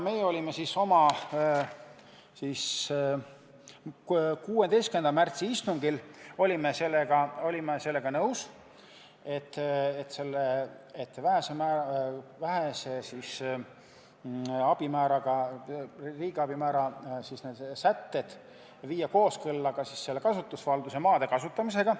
Me olime 16. märtsi istungil sellega nõus, et viia need vähese tähtsusega riigiabi määra sätted kooskõlla kasutusvalduse maade kasutamisega.